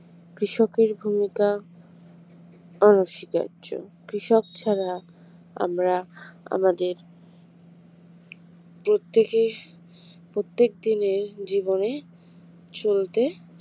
কৃষকের ভূমিকা অনস্বীকার্য কৃষক ছাড়া আমরা আমাদের প্রত্যেকের প্রত্যেক দিনের জীবনে চলতে